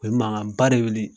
O ye mankanba de wuli.